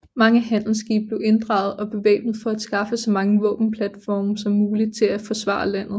Mange handelsskibe blev inddraget og bevæbnet for at skaffe så mange våbenplatforme som muligt til at forsvaret landet